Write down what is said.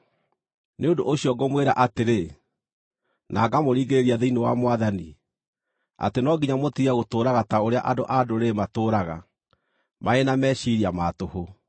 Nĩ ũndũ ũcio ngũmwĩra atĩrĩ, na ngamũringĩrĩria thĩinĩ wa Mwathani, atĩ no nginya mũtige gũtũũraga ta ũrĩa andũ-a-Ndũrĩrĩ matũũraga, marĩ na meciiria ma tũhũ.